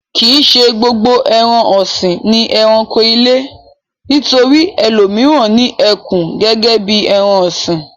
Kì í ṣe gbogbo ẹran-ọ̀sìn ni ẹranko ilé. Nítorí ẹlòmíràn ni ẹkùn gẹ́gẹ́ bí ẹran-ọ̀sìn.